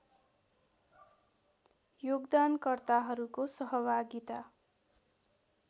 योगदानकर्ताहरूको सहभागिता